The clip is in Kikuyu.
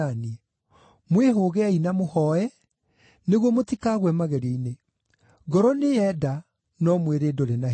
Mwĩhũgei na mũhooe nĩguo mũtikagwe magerio-inĩ. Ngoro nĩyenda, no mwĩrĩ ndũrĩ na hinya.”